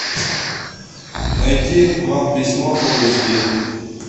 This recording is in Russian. найти вам письмо фул эйч ди